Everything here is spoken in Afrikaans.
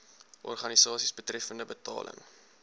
organisasies betreffende betaling